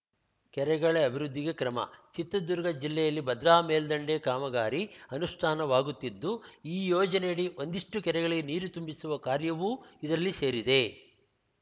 ಕೆರೆಗಳ ಅಭಿವೃದ್ಧಿಗೆ ಕ್ರಮ ಚಿತ್ರದುರ್ಗ ಜಿಲ್ಲೆಯಲ್ಲಿ ಭದ್ರಾ ಮೇಲ್ದಂಡೆ ಕಾಮಗಾರಿ ಅನುಷ್ಠಾನವಾಗುತ್ತಿದ್ದು ಈ ಯೋಜನೆಯಡಿ ಒಂದಿಷ್ಟುಕೆರೆಗಳಿಗೆ ನೀರು ತುಂಬಿಸುವ ಕಾರ್ಯವೂ ಇದರಲ್ಲಿ ಸೇರಿದೆ